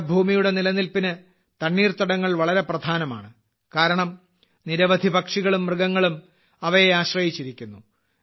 നമ്മുടെ ഭൂമിയുടെ നിലനിൽപ്പിന് തണ്ണീർത്തടങ്ങൾ വളരെ പ്രധാനമാണ് കാരണം നിരവധി പക്ഷികളും മൃഗങ്ങളും അവയെ ആശ്രയിച്ചിരിക്കുന്നു